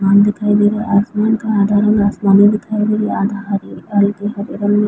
आसमान दिखाई दे रहा है। आसमान का आधा अधूरा आसमानी दिखाई दे रहा। आधा हरे हल्की हरे रंग मे--